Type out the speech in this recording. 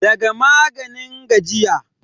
daga maganin gajiya